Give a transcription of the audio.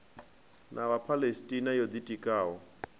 na vhaphalestina yo ḓi tikaho